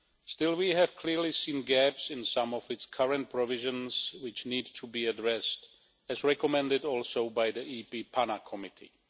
Still, we have clearly seen gaps in some of its current provisions which need to be addressed, as recommended also by the EP PANA Committee.